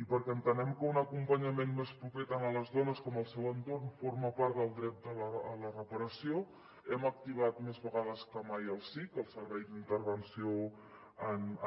i perquè entenem que un acompanyament més proper tant a les dones com al seu entorn forma part del dret a la reparació hem activat més vegades que mai el sic el servei d’intervenció